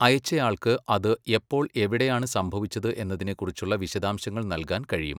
അയച്ചയാൾക്ക് അത് എപ്പോൾ എവിടെയാണ് സംഭവിച്ചത് എന്നതിനെക്കുറിച്ചുള്ള വിശദാംശങ്ങൾ നൽകാൻ കഴിയും.